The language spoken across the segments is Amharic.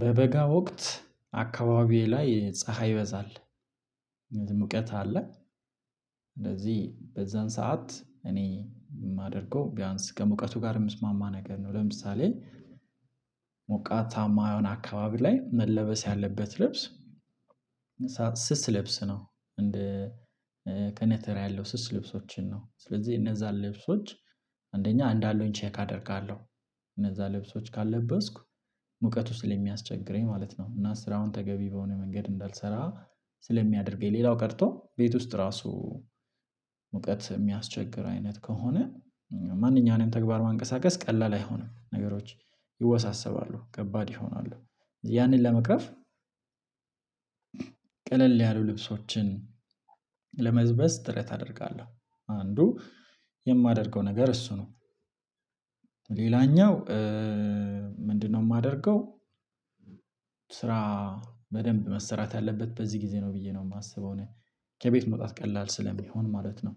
በበጋ ወቅት አካባቢዬ ላይ ፀሀይ ይበዛል ሙቀት አለ። እንደዚህ በዛን ሰዓት እኔ የማደርገው ቢያንስ ከሙቀቱ ጋር የሚስማማ ነገር ነው ለምሳሌ። ሞቃታማ የሆነ አካባቢ ላይ መለበስ ያለበት ልብስ። ስስ ልብስ ነው እንደ ከነተራ ያለው ስስ ልብሶችን ነው። ስለዚህ እነዛን ልብሶች አንደኛ አንድ አለውኝ ቼክ አደርጋለሁ። እነዛን ልብሶች ካልለበስኩ ሙቀቱ ስለሚያስቸግረኝ ማለት ነው። እና ስራውን ተገቢ በሆነ መንገድ እንዳልሰራ ስለሚያደርገኝ። ሌላው ቀርቶ ቤት ውስጥ ራሱ ሙቀት የሚያስቸግር አይነት ከሆነ ማንኛውንም ተግባር ማንቀሳቀስ ቀላል አይሆንም ነገሮች ይወሳሰባሉ ከባድ ይሆናሉ፣ ያንን ለመቅረፍ ቀለል ያሉ ልብሶችን ለመልበስ ጥረት አደርጋለሁ። አንዱ የማደርገው ነገር እሱ ነው። ሌላኛው ምንድነው? የማደርገው ስራ በደንብ መሰራት ያለበት በዚህ ጊዜ ነው ብዬ ነው የማስበው። እኔ ከቤት መውጣት ቀላል ስለሚሆን ማለት ነው።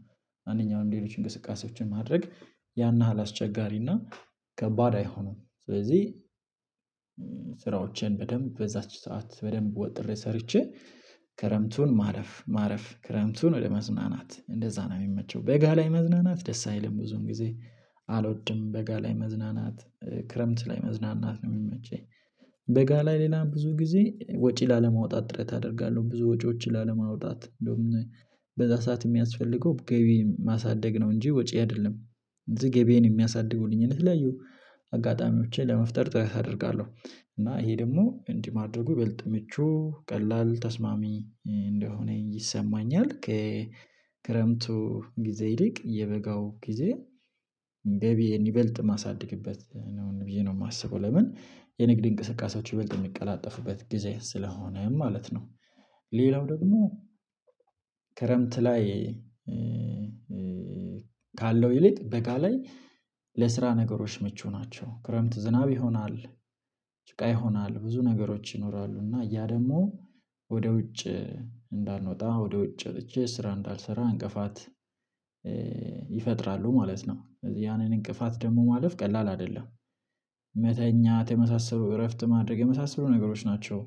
አንደኛውም ሌሎችን እንቅስቃሴዎችን ማድረግ ያን አስቸጋሪና ከባድ አይሆንም። ስለዚህ ስራዎችን በደንብ በዛች ሰዓት በደንብ ወጥሬ ሰርቼ ከረምቱን ማረፍ ማረፍ ክረምቱን ወደ መዝናናት እንደዛ ነው። የሚመቸው በጋ ላይ መዝናናት ደስ አይልም ብዙም ጊዜ አልወድም በጋ ላይ መዝናናት ክረምት ላይ መዝናናት ነው የሚመቸኝ። በጋ ላይ ሌላ ብዙ ጊዜ ወጪ ላለማውጣት ጥረት አደርጋለሁ ብዙ ወጪዎች ላለማውጣት እንደውም በዛ ሰዓት የሚያስፈልገው ገቢ ማሳደግ ነው እንጂ ወጪ አይደለም። እዚህ ገቢዬን የሚያሳድጉልኝ የተለያዩ አጋጣሚዎችን ለመፍጠር ጥረት አደርጋለ፣ ሁ እና ይሄ ደግሞ እንዲህ ማድረጉ ይበልጥ ምቹ ቀላል ተስማሚ እንደሆነ ይሰማኛል። ከክረምቱ ጊዜ ይልቅ የበጋው ጊዜ ገቢየን ይበልጥ ማሳደግበት ነው ብዬ ነው የማስበው ለምን የንግድ እንቅስቃሴዎች ይበልጥ የሚቀላጠፉበት ጊዜ ስለሆነ ማለት ነው። ሌላው ደግሞ ክረምት ላይ ካለው ይልቅ በጋ ላይ ለስራ ነገሮች ምቹ ናቸው። ክረምት ዝናብ ይሆናል ጭቃ ይሆናል ብዙ ነገሮች ይኖራሉ። እና እያ ደግሞ ወደ ውጭ እንዳንወጣ ወደ ውጭ ወጥቼ ስራ እንዳልሰራ እንቅፋት ማለት ነው። ስለዚህ ያንን እንቅፋት ደግሞ ማለፍ ቀላል አይደለም። መተኛ የመሳሰሉ እረፍት ማድረግ የመሳሰሉ ነገሮች ናቸው።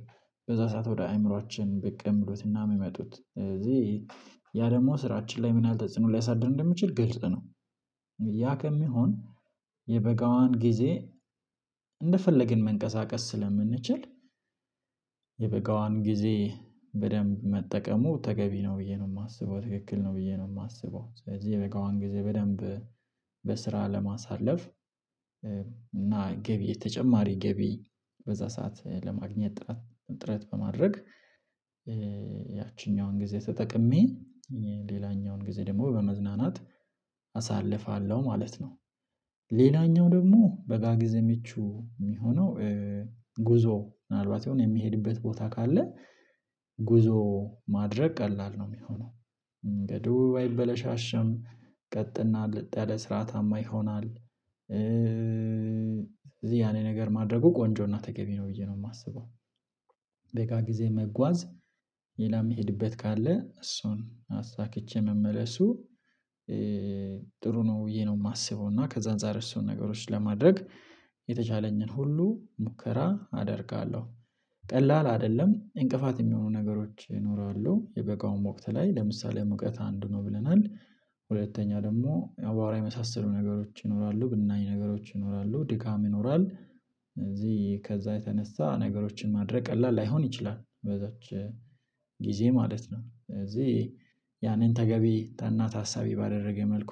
በዛ ሰዓት ወደ አእምሮአችን ብቅ የሚመጡት እዚህ ያ ደግሞ ስራችን ላይ ምን አልተጽኖ ሊያሳድር እንደሚችል ግልጽ ነው። ያ ከሚሆን የበጋዋን ጊዜ እንደፈለግን መንቀሳቀስ ስለምንችል የበጋዋን ጊዜ በደንብ መጠቀሙ ተገቢ ነው ብዬ ነው የማስበው። ትክክል ነው ብዬ ነው የማስበው። ስለዚህ የበጋዋን ጊዜ በደንብ በስራ ለማሳለፍ እና ገቢ የተጨማሪ ገቢ በዛ ሰዓት ለማግኘት ጥረት በማድረግ ያቺኛዋን ጊዜ ተጠቅሜ ሌላኛውን ጊዜ ደግሞ በመዝናናት አሳልፋለሁ ማለት ነው። ሌላኛው ደግሞ በጋ ጊዜ ምቹ የሚሆነው ጉዞ ምናልባት የሆነ የሚሄድበት ቦታ ካለ ጉዞ ማድረግ ቀላል ነው የሚሆነው። መንገዱ አይበለሻሸም ቀጥና ለጥ ያለ ስርዓታማ ይሆናል። እዚህ ያንን ነገር ማድረጉ ቆንጆና ተገቢ ነው ብዬ ነው የማስበው። በጋ ጊዜ መጓዝ ሌላ የሚሄድበት ካለ እሱን አሳክቼ መመለሱ ጥሩ ነው ብዬ ነው የማስበው፣ እና ከዛ አንፃር እነሱን ነገሮች ለማድረግ የተቻለኝን ሁሉ ሙከራ አደርጋለሁ። ቀላል አይደለም እንቅፋት የሚሆኑ ነገሮች ይኖራሉ የበጋውም ወቅት ላይ ለምሳሌ ሙቀት አንድ ነው ብለን አንድ ሁለተኛ ደግሞ አባራ የመሳሰሉ ነገሮች ይኖራሉ ብናኝ ነገሮች ይኖራሉ ድካም ይኖራል። ስለዚህ ከዛ የተነሳ ነገሮችን ማድረግ ቀላል ላይሆን ይችላል በዛች ጊዜ ማለት ነው፣ ስለዚህ ያንን ተገቢ እና ታሳቢ ባደረገ መልኩ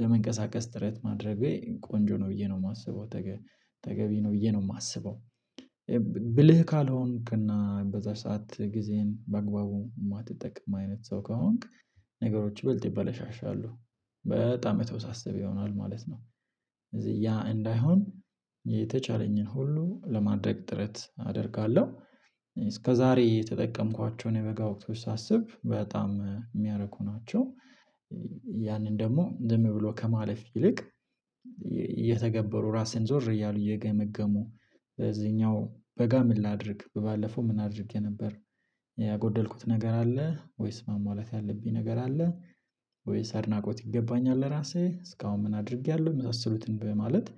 ለመንቀሳቀስ ጥረት ማድረጌ ቆንጆ ነው ብዬ ነው የማስበው። ተገቢ ነው ብዬ ነው የማስበው፣ ብልህ ካልሆንክ እና በዛ ሰዓት ጊዜን በአግባቡ የማትጠቅም አይነት ሰው ከሆንክ ነገሮች ይበልጥ ይበለሻሻሉ በጣም የተወሳሰበ ይሆናል ማለት ነው፣ እዚህ ያ እንዳይሆን የተቻለኝን ሁሉ ለማድረግ ጥረት አደርጋለሁ። እስከዛሬ የተጠቀምኳቸውን የበጋ ወቅት ሳስብ በጣም የሚያረኩ ናቸው። ያንን ደግሞ ዝም ብሎ ከማለፍ ይልቅ እየተገበሩ ራስህን ዞር እያሉ እየገመገሙ እዚህኛው በጋ ምን ላድርግ ባለፈው ምን አድርጌ ነበር ያጎደልኩት ነገር አለ ወይስ ማሟላት ያለብኝ ነገር አለ። ወይስ አድናቆት ይገባኛል ለራሴ እስካሁን ምን አድርጌያለሁ የመሳሰሉትን በማለት